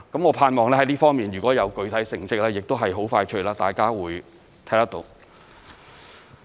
我盼望在這方面，如果有具體成績，很快大家會看得到。